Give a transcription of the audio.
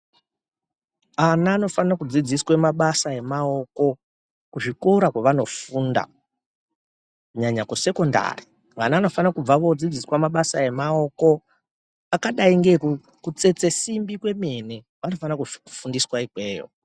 Ana anofane kudzidziswe mabasa emaoko, kuzvikora kwevanofunda kunyanya kusekendari. Vana vanofana kubva vodzidziswa mabasa emaoko, akadai ngeeku kutsetse simbi kwemene, vanofana kufufundiswa ikweyo.